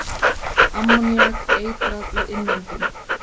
Ammoníak- Eitrað við innöndun.